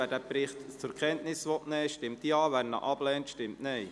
Wer den Bericht zur Kenntnis nehmen will, stimmt Ja, wer dies ablehnt, stimmt Nein.